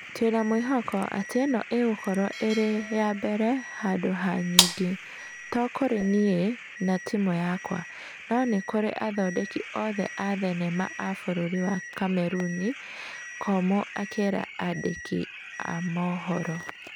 Twĩna mwĩhoko atĩ ĩno ĩgũkorwo ĩrĩ ya mbere handũ ha nyingĩ, to kũrĩ niĩ na timũ yakwa, no kũrĩ athondeki othe a thenema a bũrũri wa Kameruni, Komũ akĩra andĩki a maũhoro.